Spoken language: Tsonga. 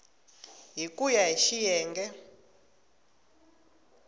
hi ku ya hi xiyenge